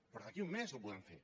però d’aquí a un mes ho podem fer